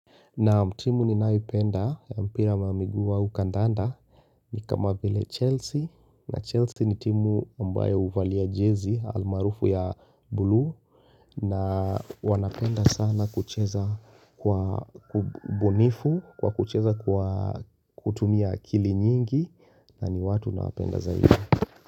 Naam timu ni nayoipenda ya mpira ama miguu au kandanda ni kama vile Chelsea na Chelsea ni timu ambaye uvalia jezi almaarufu ya blue na wanapenda sana kucheza kwa ubunifu kwa kucheza kutumia akili nyingi na ni watu nawapenda zaidi.